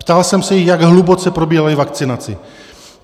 Ptal jsem se jich, jak hluboce probírají vakcinaci.